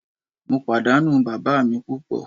Mo padanu baba mi pupo.